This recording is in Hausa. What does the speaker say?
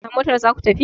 A motar za ku tafi!